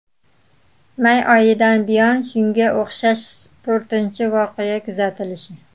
May oyidan buyon shunga o‘xshash to‘rtinchi voqea kuzatilishi.